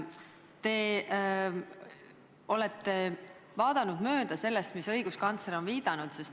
Te olete vaadanud mööda sellest, mis õiguskantsler on viidanud.